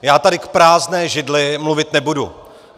Já tady k prázdné židli mluvit nebudu.